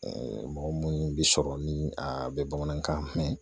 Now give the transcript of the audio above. mɔgɔ minnu bi sɔrɔ ni a bɛ bamanankan mɛn